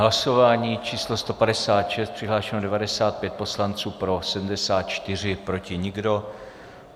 Hlasování číslo 156, přihlášeno 95 poslanců, pro 74, proti nikdo.